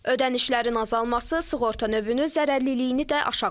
Ödənişlərin azalması sığorta növünün zərərliliyini də aşağı salıb.